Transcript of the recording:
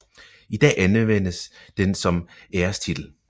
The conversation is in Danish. I dag anvendes den som ærestitel